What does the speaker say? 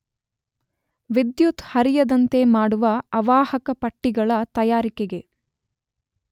ವಿದ್ಯುತ್ತು ಹರಿಯದಂತೆ ಮಾಡುವ ಅವಾಹಕ ಪಟ್ಟಿಗಳ ತಯಾರಿಕೆಗೆ